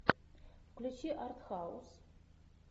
включи арт хаус